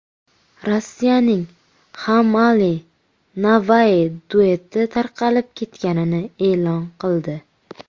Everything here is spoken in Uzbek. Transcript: Rossiyaning HammAli & Navai dueti tarqalib ketganini e’lon qildi.